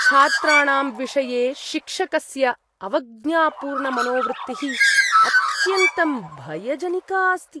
छात्राणां विषये शिक्षकस्य अवज्ञापूर्णमनोवृत्तिः अत्यन्तं भयजनिका अस्ति।